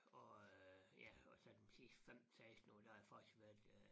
Og øh ja og så dem sidste 15 16 år der har jeg faktisk været øh